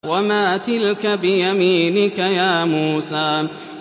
وَمَا تِلْكَ بِيَمِينِكَ يَا مُوسَىٰ